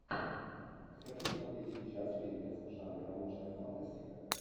хочу смотреть сейчас фильмец в жанре научная фантастика